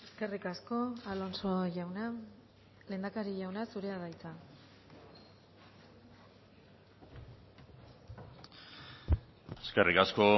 eskerrik asko alonso jauna lehendakari jauna zurea da hitza eskerrik asko